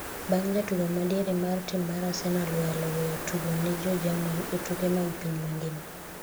bang' jatugo ma diere mar tim mar Arsenal walo weyo tugo ne jo jerman e tuke mag piny mangima